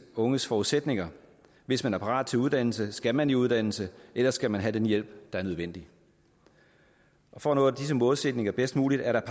unges forudsætninger hvis man er parat til uddannelse skal man i uddannelse ellers skal man have den hjælp der er nødvendig for at nå disse målsætninger bedst muligt er der